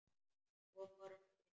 Svo fór hann að flissa.